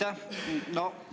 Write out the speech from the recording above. Aitäh!